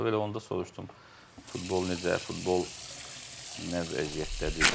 Elə onda soruşdum futbol necə, futbol nə vəziyyətdədir.